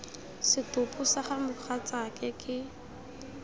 setopo sa ga mogatsaake ke